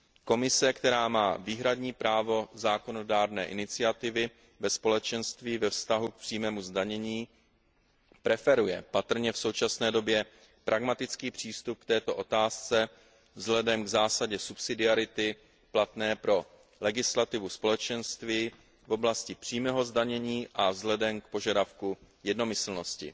Komise, která má výhradní právo zákonodárné iniciativy ve Společenství ve vztahu k přímému zdanění, v současné době patrně preferuje pragmatický přístup k této otázce vzhledem k zásadě subsidiarity platné pro legislativu Společenství v oblasti přímého zdanění a vzhledem k požadavku jednomyslnosti.